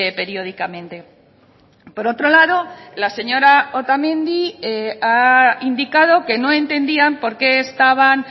periódicamente por otro lado la señora otamendi ha indicado que no entendían por qué estaban